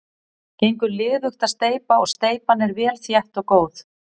Gengur liðugt að steypa og steypan er vel þétt og góð.